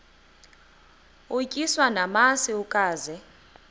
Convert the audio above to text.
utyiswa namasi ukaze